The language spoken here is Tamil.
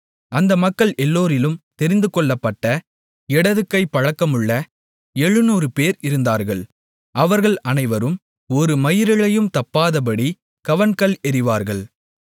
அந்த மக்கள் எல்லோரிலும் தெரிந்துகொள்ளப்பட்ட இடதுகைப் பழக்கமுள்ள 700 பேர் இருந்தார்கள் அவர்கள் அனைவரும் ஒரு மயிரிழையும் தப்பாதபடிக் கவண்கல் எறிவார்கள்